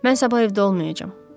Mən sabah evdə olmayacağam.